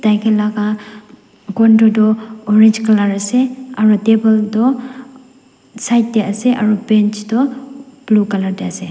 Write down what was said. laga gon tetu orange colour ase aru table tu side te ase aru bench tu blue colour te ase.